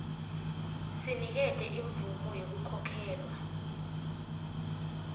sinikete imvumo yekukhokhelwa